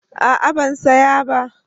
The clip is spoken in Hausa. A'a ban saya ba